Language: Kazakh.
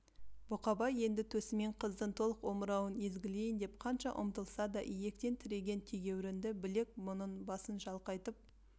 бұқабай енді төсімен қыздың толық омырауын езгілейін деп қанша ұмтылса да иектен тіреген тегеурінді білек бұның басын шалқайтып